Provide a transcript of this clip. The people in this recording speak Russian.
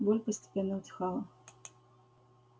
боль постепенно утихала